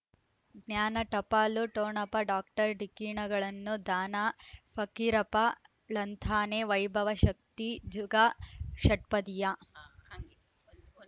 ಜ್ಞಾನ ಟಪಾಲು ಟೋಣಪ ಡಾಕ್ಟರ್ ಢಿಕ್ಕಿ ಣಗಳನು ದಾನ ಫಕೀರಪ್ಪ ಳಂತಾನೆ ವೈಭವ ಶಕ್ತಿ ಜುಗಾ ಷಟ್ಪದಿಯ